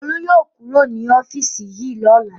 Olú yóò kúrò ní ọ́fíísì yìí lọ́la!